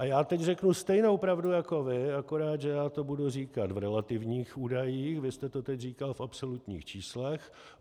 A já teď řeknu stejnou pravdu jako vy, akorát že já to budu říkat v relativních údajích, vy jste to teď říkal v absolutních číslech.